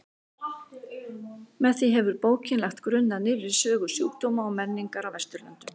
Með því hefur bókin lagt grunn að nýrri sögu sjúkdóma og menningar á Vesturlöndum.